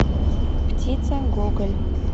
птица гоголь